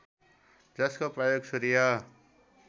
जसको प्रयोग सूर्य